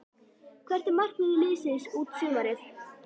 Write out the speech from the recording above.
Hvert er markmið liðsins út sumarið?